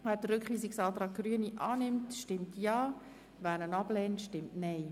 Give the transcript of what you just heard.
Wer den Rückweisungsantrag Grüne annimmt, stimmt Ja, wer diesen ablehnt, stimmt Nein.